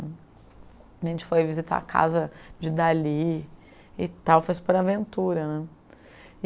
A gente foi visitar a casa de Dali e tal, foi super aventura né. E